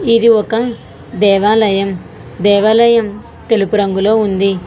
ఇది ఒక దేవాలయం. దేవాలయం తెలుపు రంగులో ఉంది.